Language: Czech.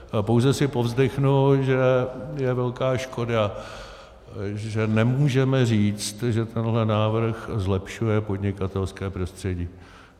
Pouze si povzdechnu, že je velká škoda, že nemůžeme říct, že tenhle návrh zlepšuje podnikatelské prostředí.